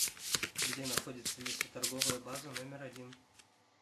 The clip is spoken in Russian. где находится лесоторговая база номер один